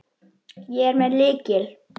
Ég er með lykil.